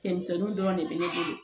Cɛmisɛnninw dɔrɔn de be ne bolo